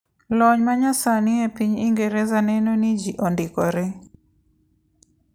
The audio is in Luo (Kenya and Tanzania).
Lony manyasani epiny Ingereza neno ni ji ondikore.